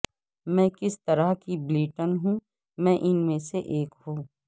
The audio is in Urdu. میں کس طرح کی بلیٹن ہوں میں ان میں سے ایک ہوں